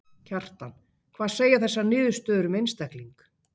Kjartan: Hvað segja þessar niðurstöður um einstakling?